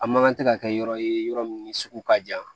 A man kan tɛ ka kɛ yɔrɔ ye yɔrɔ min sugu ka jan